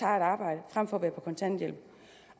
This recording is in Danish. arbejde frem for at være på kontanthjælp